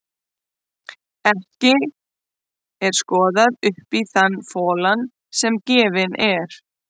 Ekki er skoðað upp í þann folann sem gefinn er.